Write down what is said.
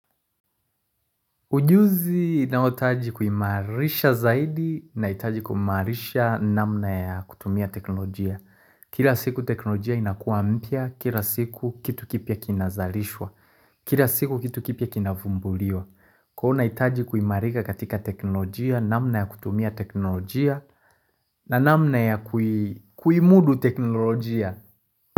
Ujuzi inaotaji kuimarisha zaidi na itaji kuimarisha namna ya kutumia teknolojia. Kira siku teknolojia inakuwa mpya, kira siku kitu kipi ya kinazalishwa, kira siku kitu kipi ya kinavumbuliwa. Kwaio una itaji kuimarika katika teknolojia, namna ya kutumia teknolojia na namna ya kuimudu teknolojia.